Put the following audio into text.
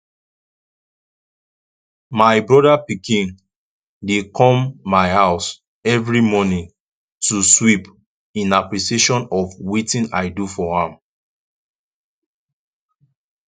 my brother pikin dey come my house every morning to sweep in appreciation of wetin i do for am